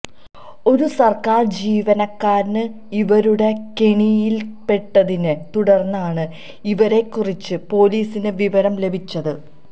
ഒരു സര്ക്കാര് ജീവനക്കാരന് ഇവരുടെ കെണിയിലകപ്പെട്ടതിനെ തുടര്ന്നാണ് ഇവരെക്കുറിച്ച് പൊലിസിന് വിവരം ലഭിച്ചത്